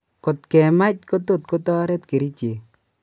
Kot kemach kotot kotoret kericheek